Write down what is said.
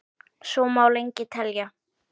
Svo má lengi telja.